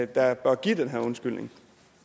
der bør give den her undskyldning